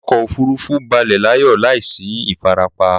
Ọkọ òfurufú balẹ̀ láyọ̀ láìsí ìfarapa